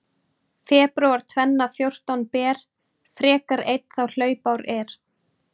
Febrúar tvenna fjórtán ber frekar einn þá hlaupár er.